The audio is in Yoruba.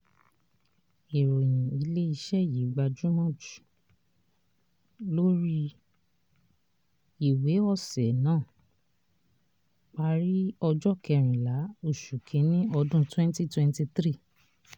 ìròyìn ilé iṣẹ́ yìí gbajúmọ̀ jù lórí ìwé ọ̀sẹ̀ náà parí ọjọ́ kẹrìnlá oṣù kínní ọdún twenty twenty three.